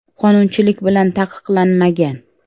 Qonunchilik bilan taqiqlanmagan.